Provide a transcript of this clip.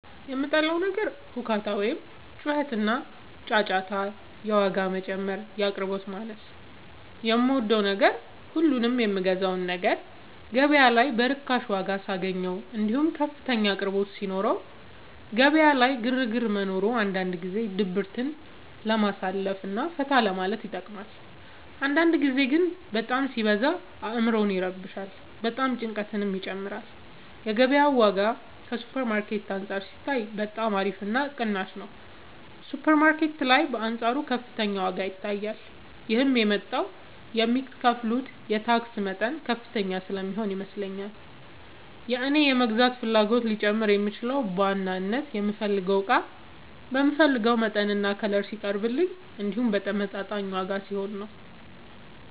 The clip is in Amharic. የምጠላው ነገር ሁካታ ወይም ጩኸትና ጫጫታ የዋጋ መጨመር የአቅርቦት ማነስ የምወደው ነገር ሁሉንም የምገዛውን ነገር ገበያ ላይ በርካሽ ዋጋ ሳገኘው እንዲሁም ከፍተኛ አቅርቦት ሲኖረው ገበያ ላይ ግርግር መኖሩ አንዳንድ ጊዜ ድብርትን ለማሳለፍ እና ፈታ ለማለት ይጠቅማል አንዳንድ ጊዜ ግን በጣም ሲበዛ አዕምሮን ይረብሻል ጭንቀትንም ይጨምራል የገበያው ዋጋ ከሱፐር ማርኬት አንፃር ሲታይ በጣም አሪፍ እና ቅናሽ ነው ሱፐር ማርኬት ላይ በአንፃሩ ከፍተኛ ዋጋ ይታያል ይህም የመጣው የሚከፍሉት የታክስ መጠን ከፍተኛ ስለሚሆን ይመስለኛል የእኔ የመግዛት ፍላጎቴ ሊጨምር የሚችለው በዋናነት የምፈልገው እቃ በምፈልገው መጠንና ከለር ሲቀርብልኝ እንዲሁም በተመጣጣኝ ዋጋ ሲሆን ነው።